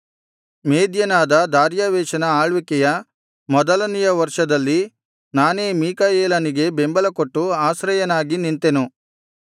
ಮೇದ್ಯನಾದ ದಾರ್ಯಾವೆಷನ ಆಳ್ವಿಕೆಯ ಮೊದಲನೆಯ ವರ್ಷದಲ್ಲಿ ನಾನೇ ಮೀಕಾಯೇಲನಿಗೆ ಬೆಂಬಲಕೊಟ್ಟು ಆಶ್ರಯನಾಗಿ ನಿಂತೆನು